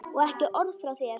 Og ekki orð frá þér!